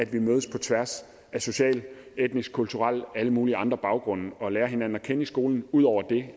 vi mødes på tværs af sociale etniske kulturelle og alle mulige andre baggrunde og lærer hinanden at kende i skolen ud over